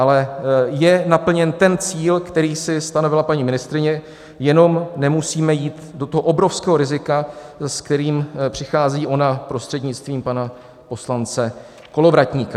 Ale je naplněn ten cíl, který si stanovila paní ministryně, jenom nemusíme jít do toho obrovského rizika, s kterým přichází ona prostřednictvím pana poslance Kolovratníka.